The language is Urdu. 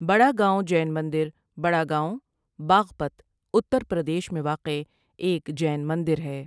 بڑا گاؤں جین مندر بڑا گاؤں، باغپت، اتر پردیش میں واقع ایک جین مندر ہے۔